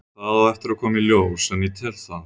Það á eftir að koma í ljós en ég tel það.